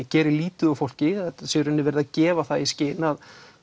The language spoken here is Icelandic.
geri lítið úr fólki sé í rauninni verið að gefa það í skyn að